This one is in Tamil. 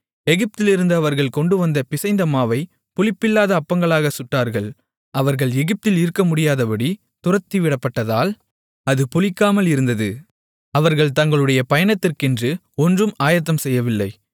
எகிப்திலிருந்து அவர்கள் கொண்டுவந்த பிசைந்தமாவைப் புளிப்பில்லாத அப்பங்களாகச் சுட்டார்கள் அவர்கள் எகிப்தில் இருக்கமுடியாதபடி துரத்திவிடப்பட்டதால் அது புளிக்காமல் இருந்தது அவர்கள் தங்களுடைய பயணத்திற்கென்று ஒன்றும் ஆயத்தம்செய்யவில்லை